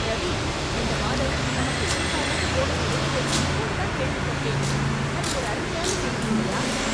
"ரவி, இந்த மாதம் நமக்கு எதிர்பாராத போனஸ் கிடைத்தென்று இப்போதுதான் கேள்விப்பட்டேன், அது ஒரு அருமையான செய்தி இல்லையா?"